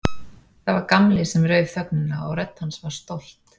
Það var Gamli sem rauf þögnina og rödd hans var stolt.